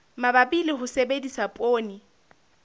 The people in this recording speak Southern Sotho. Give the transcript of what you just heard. mabapi le ho sebedisa poone